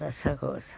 Dessa coisa.